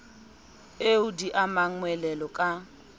eo di amang moelolo ka